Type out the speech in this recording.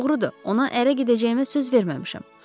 Doğrudur, ona ərə gedəcəyimə söz verməmişəm.